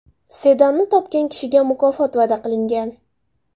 Sedanni topgan kishiga mukofot va’da qilingan.